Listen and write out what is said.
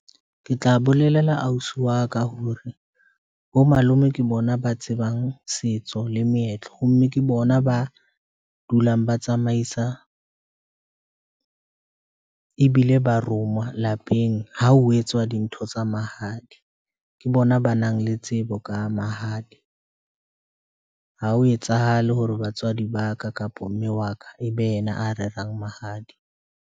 Ke tla bolelela ausi wa ka hore bo malome ke bona ba tsebang setso le meetlo ho mme ke bona ba dulang ba tsamaisa ebile ba roma lapeng. Ha ho etswa dintho tsa mahadi, ke bona ba nang le tsebo ka mahadi. Ha ho etsahale hore batswadi ba ka kapa mme wa ka ebe yena a rerang mahadi.